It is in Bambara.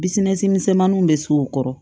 Bisina misɛnmaninw bɛ s'o kɔrɔ